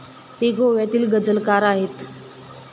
ते गोव्यातील गझलकार आहेत.